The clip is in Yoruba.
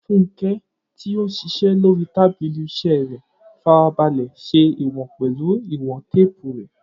Funke, tí ó ń ṣiṣẹ́ lórí tábìlì iṣẹ́ rẹ̀, farabalẹ̀ ṣe ìwọ̀n pẹ̀lú ìwọ̀n téèpù rẹ̀.